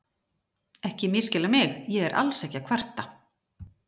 Ekki misskilja mig, ég er alls ekki að kvarta.